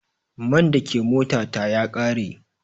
Man da ke mota ta ya ƙare.